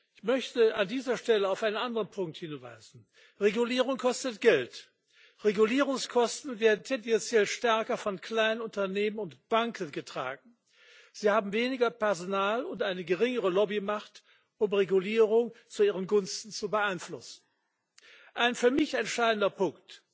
Ich möchte an dieser Stelle auf einen anderen Punkt hinweisen Regulierung kostet Geld, Regulierungskosten werden tendenziell stärker von kleinen Unternehmen und Banken getragen. Sie haben weniger Personal und eine geringere Lobbymacht, um Regulierung zu ihren Gunsten zu beeinflussen ein für mich entscheidender Punkt.